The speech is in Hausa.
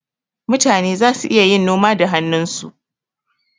Mutane zasu iya yin noma da hannunsu.